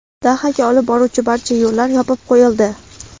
Dahaga olib boruvchi barcha yo‘llar yopib qo‘yildi.